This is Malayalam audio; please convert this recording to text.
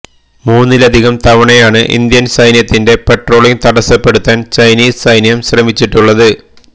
മൂന്നിലധികം തവണയാണ് ഇന്ത്യന് സൈന്യത്തിന്റെ പട്രോളിംഗ് തടസ്സപ്പെടുത്താന് ചൈനീസ് സൈന്യം ശ്രമിച്ചിട്ടുള്ളത്